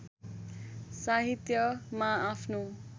साहित्यमा आफ्नो